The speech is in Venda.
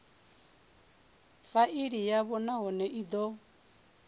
faili yavho nahone i do